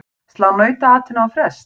Slá nautaatinu á frest?